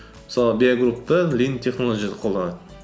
мысалы биай группта линд технолоджи ді қолданады